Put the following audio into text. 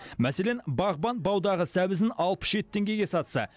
мәселен бағбан баудағы сәбізін алпыс жеті теңгеге сатса